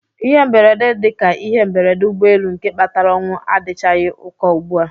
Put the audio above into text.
Ihe mberede dị ka ihe mberede ụgbọelu nke kpatara ọnwụ adịchaghị ụkọ ugbu a.